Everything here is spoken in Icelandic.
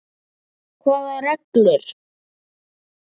Hvaða reglur?